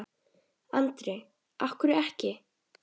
Andri: Af hverju ekki?